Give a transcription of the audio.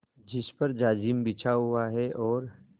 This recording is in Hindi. जिस पर जाजिम बिछा हुआ है और